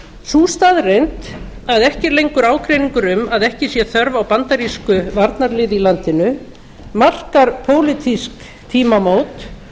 sú staðreynd að ekki er lengur ágreiningur um að ekki sé þörf á bandarísku varnarliði í landinu markar pólitísk tímamót